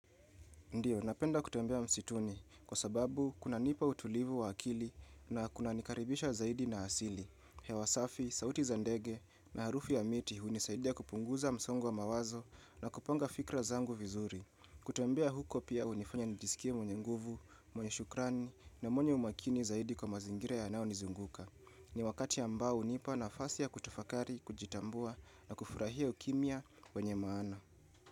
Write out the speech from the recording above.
Ndiyo, napenda kutembea msituni kwa sababu kunanipa utulivu wa akili na kunanikaribisha zaidi na asili. Hewa safi, sauti za ndege na harufu ya miti hunisaidia kupunguza msongo wa mawazo na kupanga fikra zangu vizuri. Kutembea huko pia hunifanya nijisikia mwenye nguvu, mwenye shukrani na mwenye umakini zaidi kwa mazingira yanayonizunguka. Ni wakati ambao hunipa nafasi ya kutafakari, kujitambua na kufurahia ukimya wenye maana.